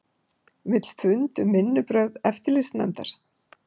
Vill fund um vinnubrögð eftirlitsnefndar